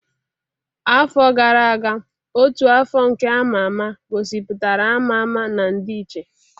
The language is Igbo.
Afọ gara aga, ọtú afọ nke ama ama gosipụtara ama ama na ndịiche.